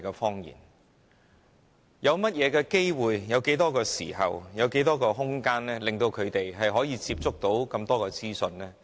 他們有甚麼機會、有多少時間和空間可以有機會接觸這麼多資訊？